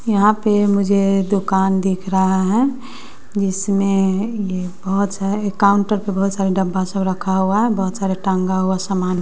यहां पे मुझे दुकान दिख रहा है जिसमें ये बहोत सा काउंटर पे बहोत सारे डब्बा सब रखा हुआ है बहोत सारे टंगा हुआ सामान--